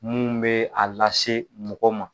Minnu bɛ a lase mɔgɔ ma